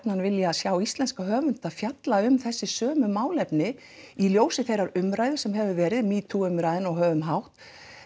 vilja sjá íslenska höfunda fjalla um þessi sömu málefni í ljósi þeirrar umræðu sem hefur verið ? metoo umræðunnar og höfum hátt